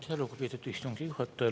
Aitäh, lugupeetud istungi juhataja!